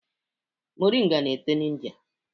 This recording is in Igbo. Moringa na-eto na India